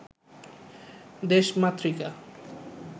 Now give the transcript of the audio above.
দেশমাতৃকা